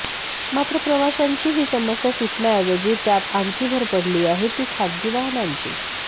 मात्र प्रवाशांची ही समस्या सुटण्याऐवजी त्यात आणखी भर पडली आहे ती खासगी वाहनांची